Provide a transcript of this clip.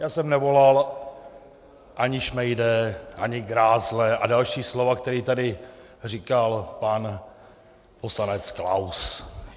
Já jsem nevolal ani šmejde, ani grázle a další slova, která tady říkal pan poslanec Klaus.